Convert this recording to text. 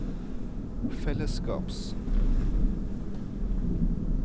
fellesskaps